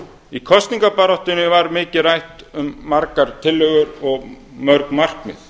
í kosningabaráttunni var mikið rætt um margar tillögur og mörg markmið